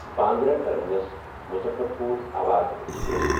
Bandra terminus Muzaffarpur Awadh express